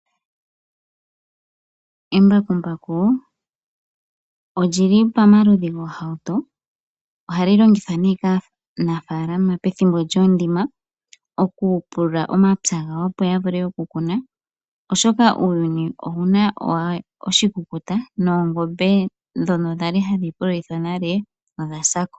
Embakumbaku olili pomaludhi goohauto ohali longithwa kaanafalama pethimbo lyoondima okupulula omapya gawo opo yavule okukuna oshoka uuyuni owuna oshikukuta noongombe ndhono kwali hadhi pululithwa nale odhasa ko.